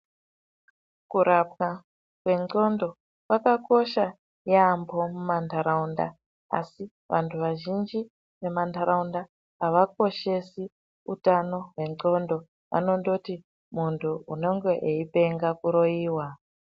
Kurapwa kwendxondo kwakakosha yaambo mumantaraunda asi vantu vazhinji vemu ntaraunda avakoshesi utano hwendxondo vanondoti muntu unenge eipenga kuroyiwa.